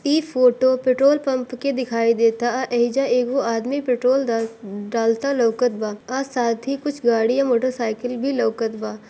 इस photo petrol pump की दिखाई देता एजा एगो आदमी पेट्रोल डा_डालता लोकत बा आ साथ ही कुछ गड़िया मोटर साइकल भी लोकत बा।